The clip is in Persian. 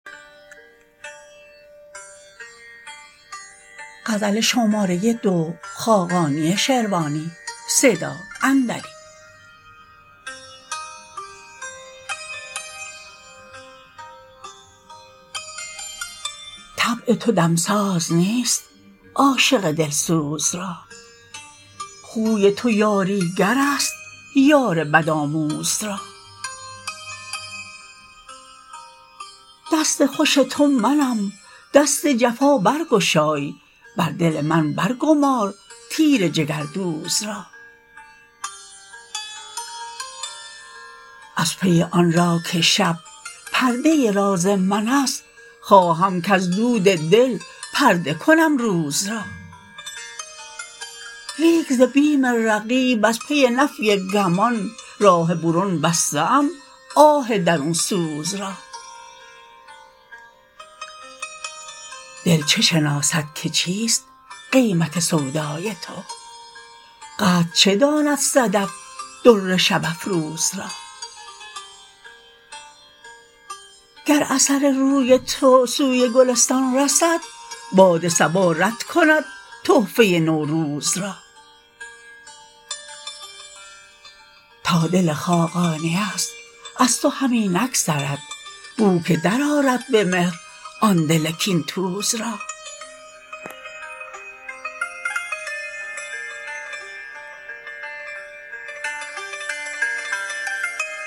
طبع تو دم ساز نیست عاشق دل سوز را خوی تو یاری گر است یار بدآموز را دست خوش تو منم دست جفا برگشای بر دل من برگمار تیر جگردوز را از پی آن را که شب پرده راز من است خواهم کز دود دل پرده کنم روز را لیک ز بیم رقیب وز پی نفی گمان راه برون بسته ام آه درون سوز را دل چه شناسد که چیست قیمت سودای تو قدر چه داند صدف در شب افروز را گر اثر روی تو سوی گلستان رسد باد صبا رد کند تحفه نوروز را تا دل خاقانی است از تو همی نگذرد بو که درآرد به مهر آن دل کین توز را